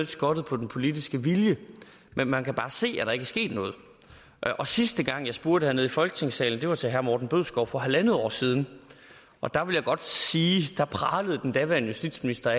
skortet på den politiske vilje men man kan bare se at der ikke er sket noget sidste gang jeg spurgte hernede i folketingssalen var til herre morten bødskov for halv år siden og der vil jeg godt sige pralede den daværende justitsminister